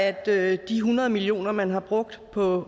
at af de hundrede million kr man har brugt på